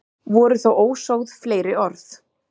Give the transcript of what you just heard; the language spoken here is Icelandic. Voru þá ósögð fleiri orð.